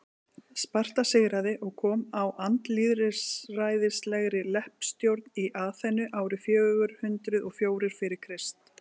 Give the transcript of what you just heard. sparta sigraði og kom á andlýðræðislegri leppstjórn í aþenu árið fjögur hundruð og fjórir fyrir krist